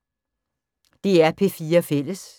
DR P4 Fælles